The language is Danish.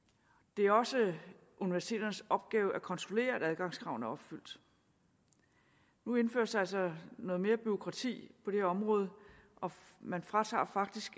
det er også universiteternes opgave at kontrollere at adgangskravene opfyldes nu indføres der altså noget mere bureaukrati på det her område man fratager faktisk